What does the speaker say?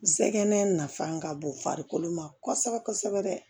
Sɛgɛnɛ nafa ka bon farikolo ma kosɛbɛ kosɛbɛ